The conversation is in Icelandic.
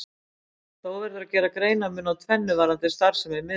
Þó verður að gera greinarmun á tvennu varðandi starfsemi miðla.